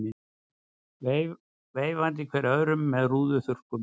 Veifandi hver öðrum með rúðuþurrkum.